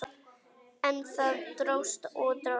En það dróst og dróst.